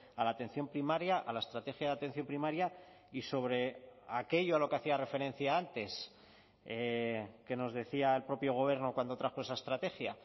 a la atención primaria a la estrategia de atención primaria y sobre aquello a lo que hacía referencia antes que nos decía el propio gobierno cuando trajo esa estrategia